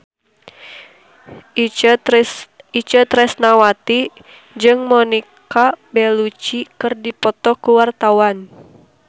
Itje Tresnawati jeung Monica Belluci keur dipoto ku wartawan